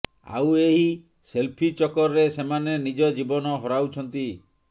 ଆଉ ଏହି ସେଲଫି ଚକ୍କରରେ ସେମାନେ ନିଜ ଜୀବନ ହରାଉଛନ୍ତି